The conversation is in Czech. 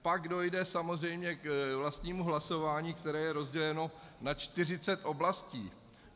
Pak dojde samozřejmě k vlastnímu hlasování, které je rozděleno na 40 oblastí.